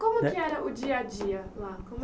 Como que era o dia a dia lá? Como